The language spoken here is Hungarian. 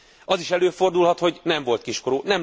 Az is előfordulhat, hogy nem volt kiskorú.